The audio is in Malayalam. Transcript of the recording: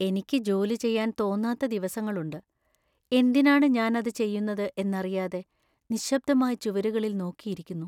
എനിക്ക് ജോലി ചെയ്യാൻ തോന്നാത്ത ദിവസങ്ങളുണ്ട്, എന്തിനാണ് ഞാൻ അത് ചെയ്യുന്നത് എന്നറിയാതെ നിശബ്ദമായി ചുവരുകളിൽ നോക്കി ഇരിക്കുന്നു.